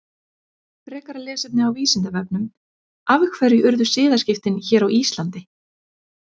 Frekara lesefni á Vísindavefnum: Af hverju urðu siðaskiptin hér á Íslandi?